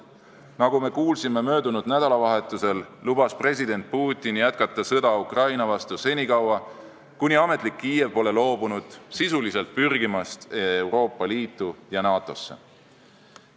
Nagu me kuulsime möödunud nädalavahetusel, lubas president Putin jätkata sõda Ukraina vastu senikaua, kuni ametlik Kiiev pole loobunud sisuliselt pürgimast Euroopa Liitu ja NATO-sse.